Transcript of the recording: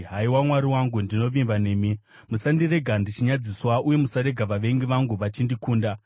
haiwa Mwari wangu, ndinovimba nemi. Musandirega ndichinyadziswa, uye musarega vavengi vangu vachindikunda.